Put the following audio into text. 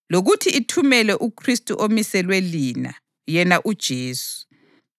lokuthi ithumele uKhristu omiselwe lina, yena uJesu.